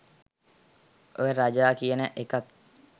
ඔය "රජා" කියන එකත්